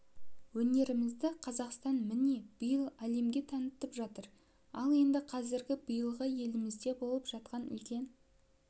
өнерімізді қазақстан міне биыл әлемге танытып жатыр ал енді казіргі биылғы елімізде болып жатқан үлкен